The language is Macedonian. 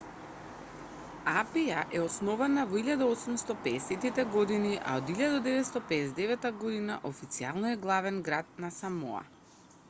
апија е основана во 1850-те години а од 1959 година официјално е главен град на самоа